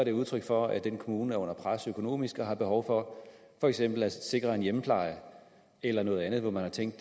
et udtryk for at den kommune er under pres økonomisk og har behov for for eksempel at sikre en hjemmepleje eller noget andet man har tænkt at